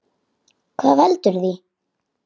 Hvað veldur því?